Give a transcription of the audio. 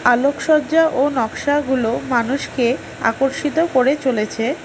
আলোকসজ্জা ও নকশাগুলো মানুষকে আকর্ষিত করে চলেছে।